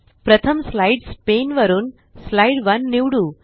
प्रथम slides pane वरुन slide 1 निवडू